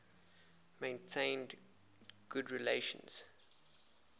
maintained good relations